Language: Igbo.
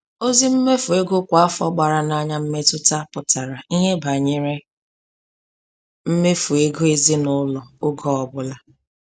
Ozi mmefu ego kwa afọ gbara n'anya mmetụta pụtara ihe banyere mmefu ego ezinụlọ oge ọbụla.